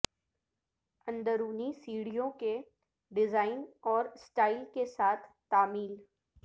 اندرونی سیڑھیوں کے ڈیزائن اور سٹائل کے ساتھ تعمیل